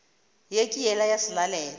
ye ke yela ya selalelo